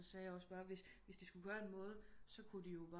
Så sagde jeg også bare hvis de hvis de skulle gøre en måde så kunne de jo